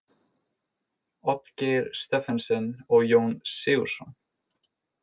Oddgeir Stephensen og Jón Sigurðsson.